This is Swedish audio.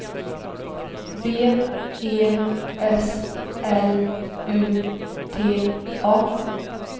B E S L U T A